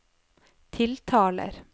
tiltaler